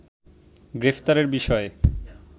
গ্রেফতারের বিষয়ে